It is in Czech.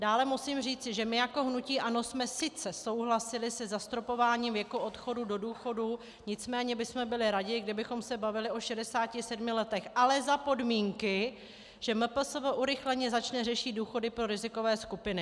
Dále musím říci, že my jako hnutí ANO jsme sice souhlasili se zastropováním věku odchodu do důchodu, nicméně bychom byli raději, kdybychom se bavili o 67 letech - ale za podmínky, že MPSV urychleně začne řešit důchody pro rizikové skupiny.